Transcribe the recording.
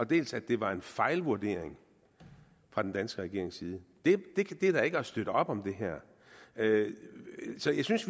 dels at det var en fejlvurdering fra den danske regerings side det er da ikke at støtte op om det her så jeg synes